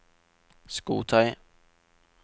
skotøy